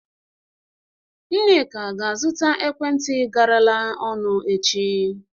Nneka ga azụta ekwentị garala ọnụ echi